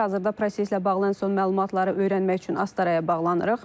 Hazırda proseslə bağlı ən son məlumatları öyrənmək üçün Astaraya bağlanırıq.